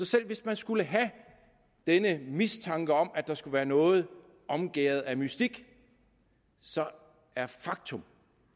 selv hvis man skulle have denne mistanke om at der skulle være noget omgærdet af mystik så er faktum